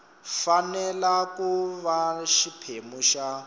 fanele ku va xiphemu xa